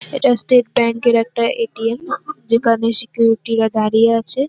এটা স্টেট ব্যাঙ্কে -এর একটা এ.টি.এম. যেখানে সিকিউরিটি -রা দাঁড়িয়ে আছে।